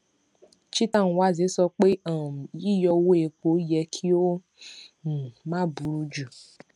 cheta nwanze sọ pé um yíyọ owó epo yẹ kí ó um má buru ju